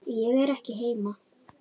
Ég er ekki heima